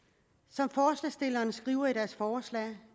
som forslagsstillerne skriver i deres forslag